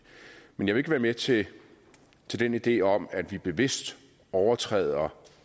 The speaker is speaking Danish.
men jeg vil ikke være med til til den idé om at vi bevidst overtræder